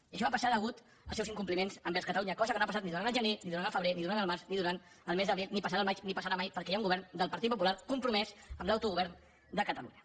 i això va passar pels seus incompliments envers catalunya cosa que no ha passat ni durant el gener ni durant el febrer ni durant el març ni durant el mes d’abril ni passarà al maig ni passarà mai perquè hi ha un govern del partit popular compromès amb l’autogovern de catalunya